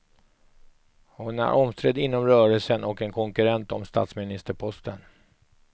Hon är omstridd inom rörelsen och en konkurrent om statsministerposten.